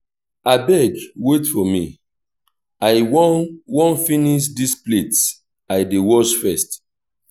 abeg wait for me i wan wan finish dis plates i dey wash first